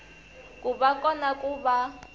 ku va kona ku va